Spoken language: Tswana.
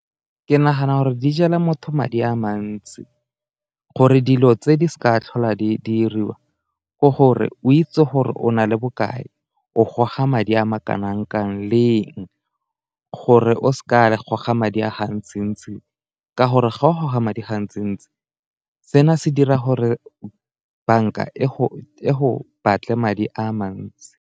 Ke nagana gore di jela motho madi a mantsi, gore dilo tse di seka tlhola di diriwa ke gore o itse gore o na le bokae, o goga madi a ma kanang-kang leng, gore o seka goga madi a ga ntsi-ntsi ka gore ga o goga madi gantsi-ntsi seno se dira gore banka e go batle madi a mantsi.